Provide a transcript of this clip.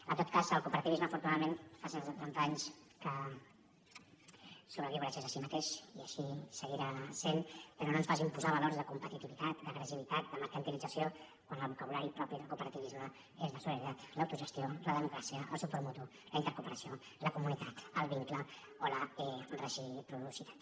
en tot cas el cooperativisme afortunadament fa cent setanta anys que sobreviu gràcies a si mateix i així seguirà sent però no ens facin posar valors de competitivitat d’agressivitat de mercantilització quan el vocabulari propi del cooperativisme és la solidaritat l’autogestió la democràcia el suport mutu la intercooperació la comunitat el vincle o la reciprocitat